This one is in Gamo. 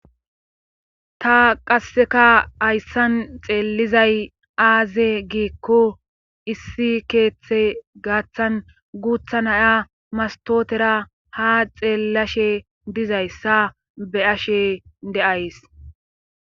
Ta qasseka hayssan xeellizay aaze giikko issi keeththe gaaththan guutha naya mastootera ha xeellashe dizayssa be ashe de7ays